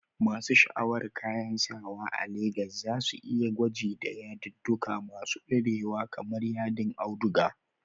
Masu sha'awar kayan sawa a Legas za su yi gwaji da yadudduka masu dorewa kamar yadin auduga.